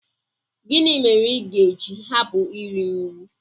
Gịnị mere i ga-eji hapụ iri nri?